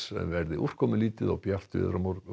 verður úrkomulítið og bjart veður